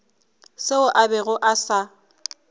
seo a bego a sa